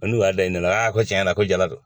N'o y'a da ne la ko tiɲɛ yɛrɛ la ko jala don